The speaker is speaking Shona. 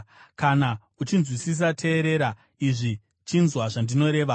“Kana uchinzwisisa teerera izvi; chinzwa zvandinoreva.